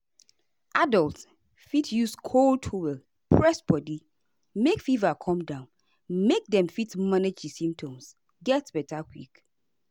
adults fit use cold towel press body make fever come down make dem fit manage di symptoms get beta quick.